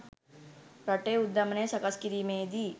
රටේ උද්ධමනය සකස් කිරීමේදී